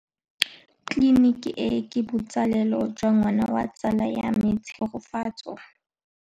Tleliniki e, ke botsalêlô jwa ngwana wa tsala ya me Tshegofatso.